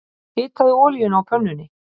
Hitaðu olíuna á pönnunni.